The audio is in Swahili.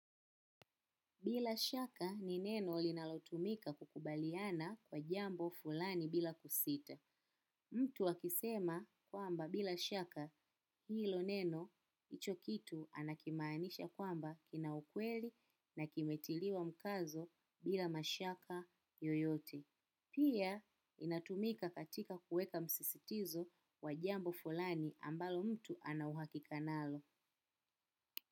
Bila shaka ni neno linalotumika kukubaliana kwa jambo fulani bila kusita. Mtu akisema kwamba bila shaka hilo neno hicho kitu anakimaanisha kwamba kina ukweli na kimetiliwa mkazo bila mashaka yoyote. Pia inatumika katika kuweka msisitizo wa jambo fulani ambalo mtu ana uhakika nalo.